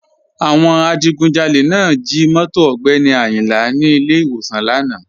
Àwọn adìgùnjálẹ̀ náà jí móto Ogbeni Ayinla ní ilẹ̀ iwọ̀san lána.